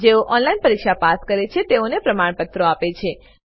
જેઓ ઓનલાઈન પરીક્ષા પાસ કરે છે તેઓને પ્રમાણપત્રો આપે છે